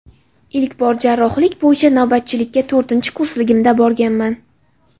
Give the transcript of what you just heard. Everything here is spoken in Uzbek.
Ilk bor jarrohlik bo‘yicha navbatchilikka to‘rtinchi kursligimda borganman.